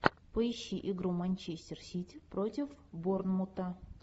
поищи игру манчестер сити против борнмута